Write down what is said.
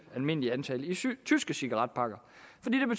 almindelige antal i tyske cigaretpakker